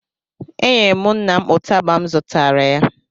Enyere m nna m ụtaba m zụtara ya